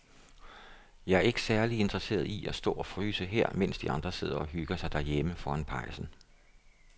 Jeg er ikke særlig interesseret i at stå og fryse her, mens de andre sidder og hygger sig derhjemme foran pejsen.